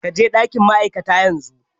Ka je ɗakin ma'aikata yanzu!